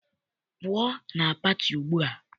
Pụọ na pati ugbua!